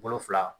Bolo fila